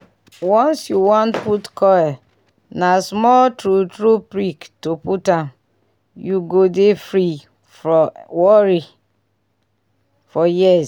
once you wan put coil na small true true prick to put am-- u go dey free from worry for years